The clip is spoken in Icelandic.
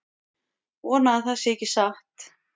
Vona að það sé ekki satt